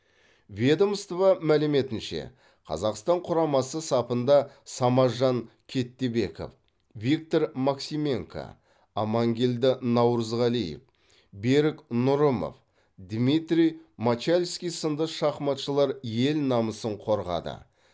ведомство мәліметінше қазақстан құрамасы сапында самажан кеттебеков виктор максименко амангелді наурызғалиев берік нұрымов дмитрий мочальский сынды шахматшылар ел намасын қорғады